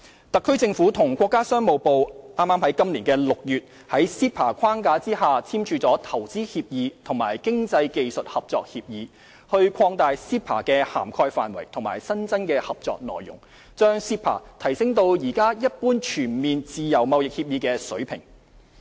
特區政府與國家商務部剛於今年6月在 CEPA 框架下簽署《投資協議》及《經濟技術合作協議》，擴大 CEPA 的涵蓋範圍和新增合作內容，將 CEPA 提升至現時一般全面自由貿易協議的水平。